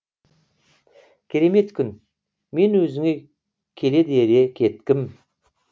керемет күн мен өзіңе келеді ере кеткім